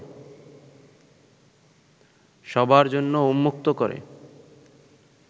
সবার জন্য উন্মুক্ত করে